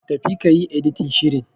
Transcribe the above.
Tafi kayi Editin shirin.